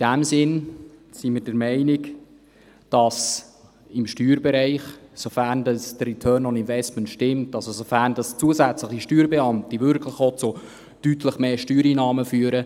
Deshalb sind wir der Meinung, dass man im Steuerbereich diese Steuerbeamten einstellen sollte, sofern der Return on Investment stimmt, zusätzliche Steuerbeamte also wirklich auch zu deutlich mehr Steuereinnahmen führen.